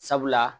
Sabula